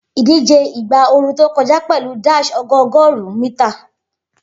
Idije igba ooru to kọja pẹlu dash ọgọọgọrun mita